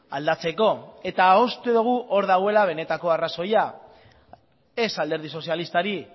aldatzeko eta uste dugu hor dagoela benetako arrazoia ez alderdi sozialistari